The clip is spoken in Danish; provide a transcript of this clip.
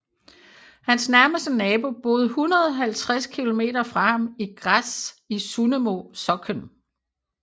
Hans nærmeste nabo boede 150 kilometer fra ham i Gräs i Sunnemo socken